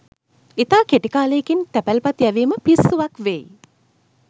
ඉතා කෙටි කාලයකින් තැපැල්පත් යැවීම පිස්සුවක් වෙයි